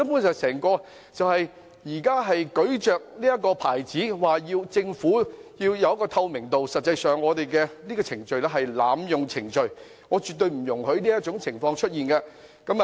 現在議員聲稱要求政府辦事具透明度，但實際上根本是濫用程序，我絕對不容許這種情況出現。